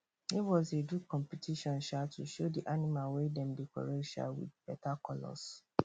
neighbors dey do competition um to show the animal wey dem decorate um with better colours